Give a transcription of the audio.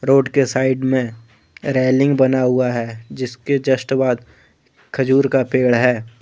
Road के side में railing बना हुआ है जिसके जस्ट बाद खजूर का पेड़ है।